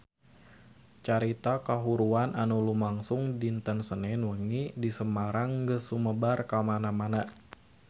Carita kahuruan anu lumangsung dinten Senen wengi di Semarang geus sumebar kamana-mana